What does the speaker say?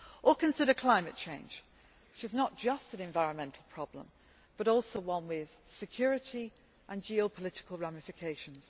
Or consider climate change, which is not just an environmental problem but also one with security and geopolitical ramifications.